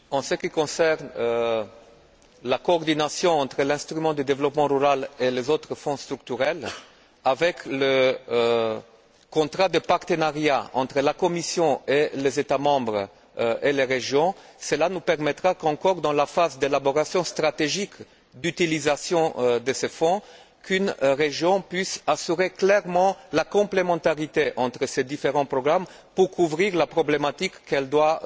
En ce qui concerne la coordination entre l'instrument de développement rural et les autres fonds structurels avec le contrat de partenariat entre la Commission et les États membres et les régions, cela nous permettra, dans la phase d'élaboration stratégique d'utilisation de ce fonds, qu'une région puisse assurer clairement la complémentarité entre ces différents programmes pour couvrir la problématique qu'elle doit